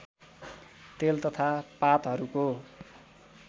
तेल तथा पातहरूको